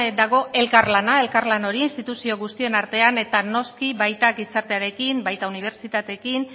dago elkarlana elkarlan hori instituzio guztien artean eta noski baita gizartearekin baita unibertsitateekin